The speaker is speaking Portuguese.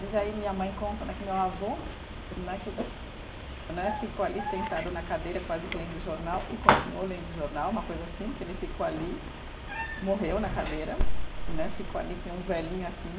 Diz aí, minha mãe conta né que meu avô né que, né ficou ali sentado na cadeira quase que lendo jornal e continuou lendo jornal, uma coisa assim, que ele ficou ali, morreu na cadeira né, ficou ali que nem um velhinho assim.